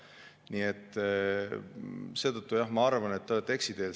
Nii et seetõttu ma arvan jah, et te olete eksiteel.